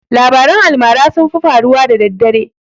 Labaran almara sun fi faruwa daddare